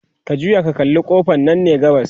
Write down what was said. ka juya ka kalla ƙofan Nan ne gabas